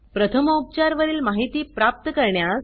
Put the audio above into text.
प्रथमोपचार वरील माहिती प्राप्त करण्यास